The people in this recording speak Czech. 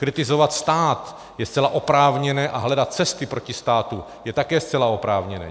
Kritizovat stát je zcela oprávněné a hledat cesty proti státu je také zcela oprávněné.